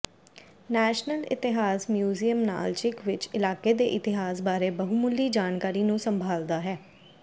national ਇਤਿਹਾਸ museum Nalchik ਵਿੱਚ ਇਲਾਕੇ ਦੇ ਇਤਿਹਾਸ ਬਾਰੇ ਬਹੁਮੁੱਲੀ ਜਾਣਕਾਰੀ ਨੂੰ ਸੰਭਾਲਦਾ ਹੈ